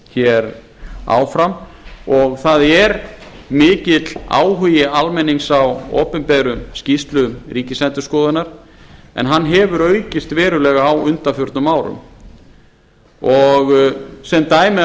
hér áfram og það er mikill áhugi almennings á opinberum skýrslum ríkisendurskoðunar en hann hefur aukist verulega á undanförnum árum sem dæmi